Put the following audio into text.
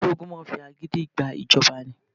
Ìjọba ológun máa ń fi agídí gba ìjọba ni.